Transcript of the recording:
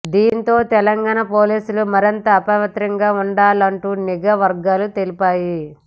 దీంతో తెలంగాణ పోలీసులు మరింత అప్రమత్తంగా ఉండాలంటూ నిఘా వర్గాలు తెలిపాయి